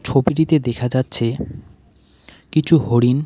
ছবিটিতে দেখা যাচ্ছে কিছু হরিণ।